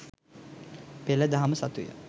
පෙළ දහම සතුය.